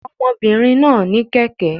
Ọmọbìnrin náà ní kẹ̀kẹ́